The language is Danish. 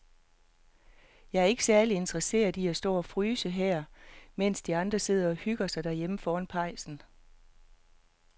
Jeg er ikke særlig interesseret i at stå og fryse her, mens de andre sidder og hygger sig derhjemme foran pejsen.